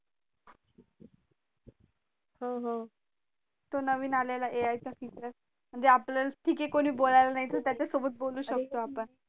हो हो तो नवीन आलेला A i काह future म्हणजे आपल्याला ठीक ये कोन बोलायला नाही तर त्याच्या सोबत बोलू शकतो आपण